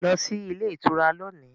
Go to the hotel today